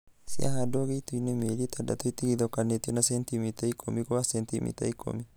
Cihandagwo gĩitoinĩ mĩeli itandatũ itigithũkanĩtio na sentimita ikũmi gwa sentimita ikũmi